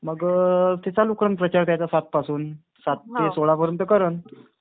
मग ते चालू करेल प्रचार त्याचा सातपासून. सात ते सोळापर्यंत करन.